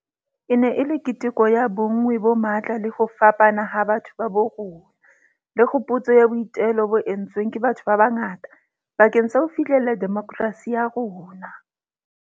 E ne e le keteko ya bonngwe bo matla le ho fapana ha batho ba bo rona, le kgopotso ya boitelo bo entsweng ke batho ba bangata bakeng sa ho fihlella demokerasi ya rona.